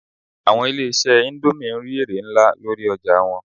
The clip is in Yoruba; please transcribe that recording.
Àwọn ilé-ìṣẹ́ indomie n rí èrè nlá lórí ọjà wọn